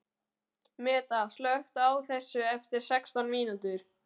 Meda, slökktu á þessu eftir sextán mínútur.